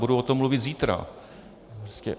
Budu o tom mluvit zítra.